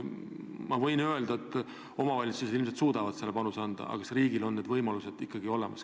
Ma võin öelda, et omavalitsused ilmselt suudavad lubatud panuse anda, aga kas riigil on need võimalused ikka olemas?